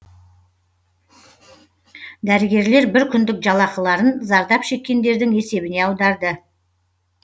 дәрігерлер бір күндік жалақыларын зардап шеккендердің есебіне аударды